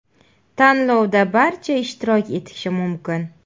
Tanlovda barcha ishtirok etishi mumkin.